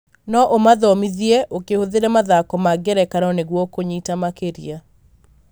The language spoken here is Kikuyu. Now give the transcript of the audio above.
no umathomithie ũkĩhũthĩra mathako ma ngerekano nĩguo kũnyita makĩria.